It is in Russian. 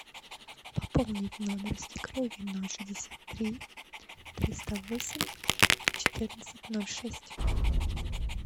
пополнить номер свекрови ноль шестьдесят три триста восемь четырнадцать ноль шесть